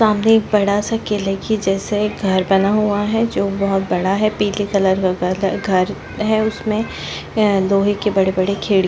सामने एक बड़ा सा किले के जैसे घर बना हुआ है जो बहुत बड़ा है पिले कलर का घर घर है उसमे लोहे की बड़े बड़े खिड़की --